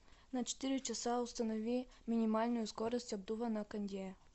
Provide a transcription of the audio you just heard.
на четыре часа установи минимальную скорость обдува на кондее